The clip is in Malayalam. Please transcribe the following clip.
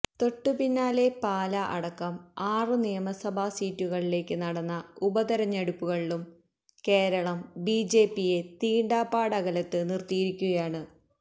തൊട്ട് പിന്നാലെ പാല അടക്കം ആറ് നിയമസഭാ സീറ്റുകളിലേക്ക് നടന്ന ഉപതിരഞ്ഞെടുപ്പുകളിലും കേരളം ബിജെപിയെ തീണ്ടാപാടകലത്ത് നിർത്തിയിരിക്കുകയാണ്